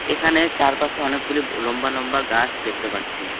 এখানে চারপাশে অনেকগুলি লম্বা লম্বা গাছ দেখতে পাচ্ছি।